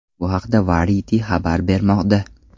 Bu haqda Variety xabar bermoqda .